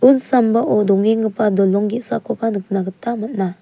un sambao dong·engipa dolong ge·sakoba nikna gita man·a.